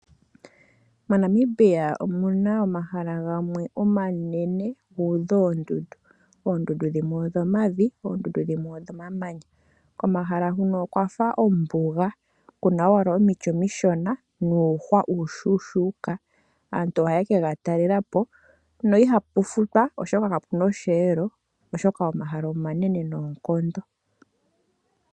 MoNamibia omuna omahala gamwe omanene guudha oondundu, oondundu dhimwe odho mavi, oondundu dhimwe odho mamanya. Komahala huka okwafa ombuga, kuna owala omiti omishona nuuhwa uushushuka. Aantu ohaye ke gatalelapo, no ihaku futwa oshoka kakuna osheelo, oshoka omahala omanene noonkondo.